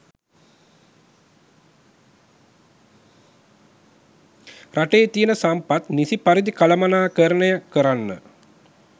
රටේ තියන සම්පත් නිසි පරිදි කළමණාකරණය කරන්න